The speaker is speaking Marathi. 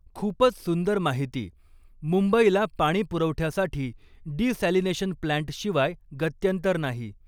खुपच सुंदर माहीती मुंबईला पाणीपुरवठ्यासाठी डिसॅलिनेशन प्लँटशिवाय गत्यंतर नाही